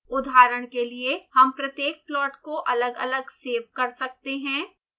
उदाहरण के लिए हम प्रत्येक प्लॉट को अलगअलग सेव कर सकते हैं